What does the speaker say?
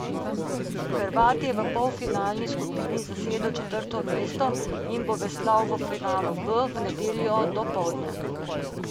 Hrvat je v polfinalni skupini zasedel četrto mesto in bo veslal v finalu B v nedeljo dopoldne.